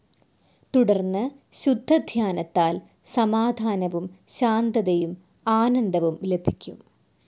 തുടർന്ന് ശുദ്ധധ്യാനത്താൽ സമാധാനവും ശാന്തതയും ആനന്ദവും ലഭിക്കും.